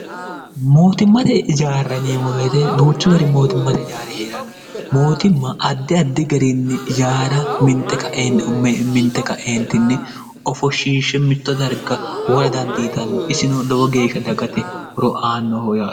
mootimmate jaarra neemmoweete duuchu gari mootimmate jaare hee'ranno mootimma addi addi gariinni jaara minte kaeentinni ofoshiishshe mitto darga wora dandiitanno isino lowo geeshsha dagate horo aannooho yaro